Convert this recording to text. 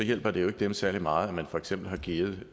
hjælper det jo ikke dem særlig meget at man for eksempel har givet